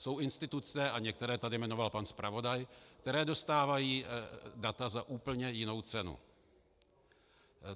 Jsou instituce, a některé tady jmenoval pan zpravodaj, které dostávají data za úplně jinou cenu.